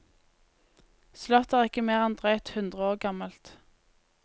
Slottet er ikke mer enn drøyt hundre år gammelt.